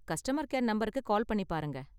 Customer care நம்பருக்கு call பண்ணி பாருங்க.